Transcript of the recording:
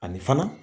Ani fana